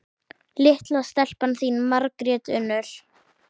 Litla stelpan þín, Margrét Unnur.